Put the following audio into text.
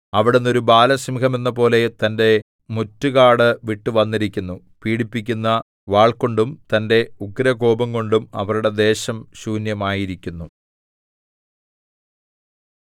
അവിടുന്ന് ഒരു ബാലസിംഹമെന്നപോലെ തന്റെ മുറ്റുകാടു വിട്ടുവന്നിരിക്കുന്നു പീഡിപ്പിക്കുന്ന വാൾകൊണ്ടും തന്റെ ഉഗ്രകോപംകൊണ്ടും അവരുടെ ദേശം ശൂന്യമായിരിക്കുന്നു